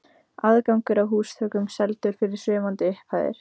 Aðgangur að húsþökum seldur fyrir svimandi upphæðir.